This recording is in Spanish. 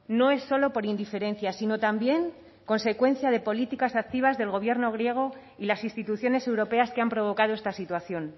no es solo por indiferencia sino también consecuencia de políticas activas del gobierno griego y las instituciones europeas que han provocado esta situación